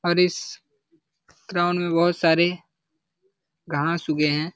और इस ग्राउंड में बहुत सारे घास उगे हैं।